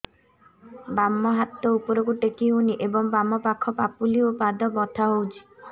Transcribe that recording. ବାମ ହାତ ଉପରକୁ ଟେକି ହଉନି ଏବଂ ବାମ ପାଖ ପାପୁଲି ଓ ପାଦ ବଥା ହଉଚି